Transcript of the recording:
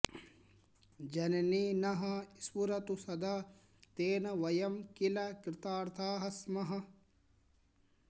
जननी नः स्फुरतु सदा तेन वयं किल कृतार्थाः स्मः